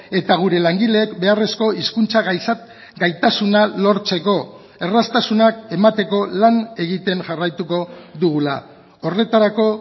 eta gure langileek beharrezko hizkuntza gaitasuna lortzeko erraztasunak emateko lan egiten jarraituko dugula horretarako